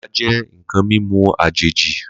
Limká jẹ̀ nkãn mimú àjéji